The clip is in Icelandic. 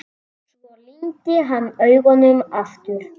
Svo lygndi hann augunum aftur.